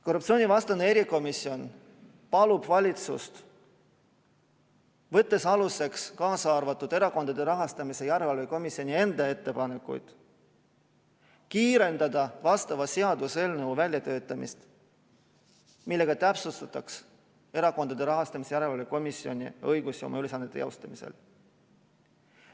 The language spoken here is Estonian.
Korruptsioonivastane erikomisjon palub valitsust, võttes aluseks ka Erakondade Rahastamise Järelevalve Komisjoni enda ettepanekud, kiirendada vastava seaduseelnõu väljatöötamist, millega täpsustataks Erakondade Rahastamise Järelevalve Komisjoni õigusi oma ülesannete teostamisel.